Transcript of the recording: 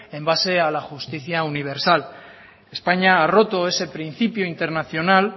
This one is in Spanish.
en base a la justicia universal españa ha roto ese principio internacional